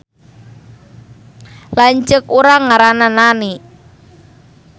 Lanceuk urang ngaranna Nani